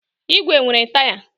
ígwè nwere taya.